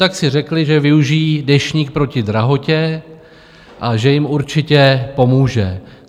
Tak si řekli, že využijí Deštník proti drahotě a že jim určitě pomůže.